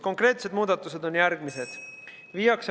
Konkreetsed muudatused on järgmised.